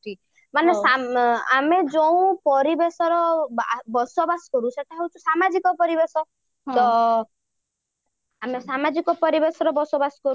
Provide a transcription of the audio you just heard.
ମାନେ ଆମେ ଯୋଉ ପରିବେଶ ର ବସବାସ କରୁଛେ ତାହା ହଉଛି ସାମାଜିକ ପରିବେଶ ତ ଆମେ ସାମାଜିକ ପରିବେଶରେ ବସବାସ କରୁ